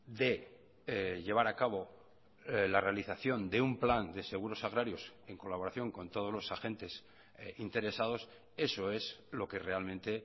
de llevar a cabo la realización de un plan de seguros agrarios en colaboración con todos los agentes interesados eso es lo que realmente